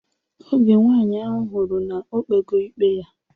Oge nwaanyị ahụ hụrụ na o kpego ikpe ya